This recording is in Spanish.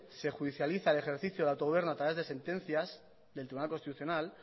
se judicializa el ejercicio del autogobierno a través de sentencias del tribunal constitucional